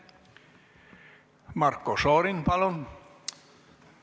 Marko Šorin, palun!